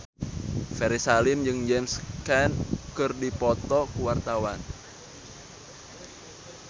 Ferry Salim jeung James Caan keur dipoto ku wartawan